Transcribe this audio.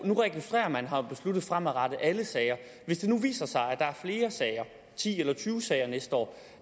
nu registrerer man har man besluttet fremadrettet alle sager hvis det nu viser sig at der er flere sager ti eller tyve sager næste år